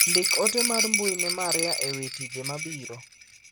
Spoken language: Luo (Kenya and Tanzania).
Ndik ote mar mbui ne Maria ewi tije mabiro.